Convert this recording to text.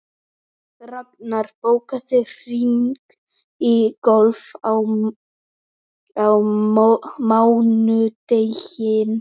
Raknar, bókaðu hring í golf á mánudaginn.